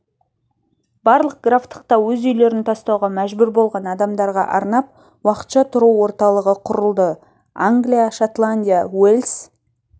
барлық графтықта өз үйлерін тастауға мәжбүр болған адамдарға арнап уақытша тұру орталығы құрылды англия шотландия уэльс